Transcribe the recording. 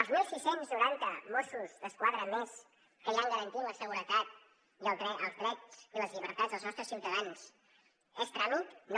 els setze noranta mossos d’esquadra més que hi han garantint la seguretat i els drets i les llibertats dels nostres ciutadans són tràmit no